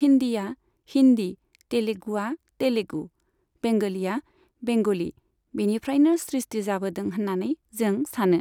हिन्दीआ हिन्दी तेलेगुआ तेलेगु बेंगलिया बेंगलि बिनिफ्रायनो सृष्टि जाबोदों होननानै जों सानो।